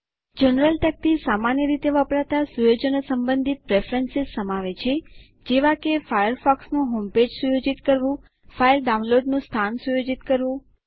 general તકતી સામાન્ય રીતે વપરાતા સુયોજનો સંબંધિત પ્રેફરન્સ સમાવે છે જેવા કે ફાયરફોક્સનું હોમપેજ સુયોજિત કરવું ફાઈલ ડાઉનલોડનું સ્થાન સુયોજિત કરવું